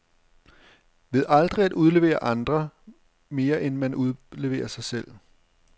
Ved aldrig at udlevere andre, mere end man udleverer sig selv.